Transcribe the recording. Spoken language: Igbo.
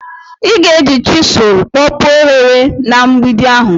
ị ga-eji chisụl kpọpuo ohere na mgbidi ahụ